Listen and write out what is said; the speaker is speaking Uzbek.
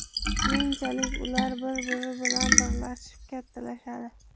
Keyinchalik ular bir-biri bilan birlashib kattalashadi.